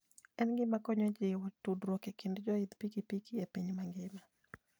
En gima konyo e jiwo tudruok e kind joidh pikipiki e piny mangima.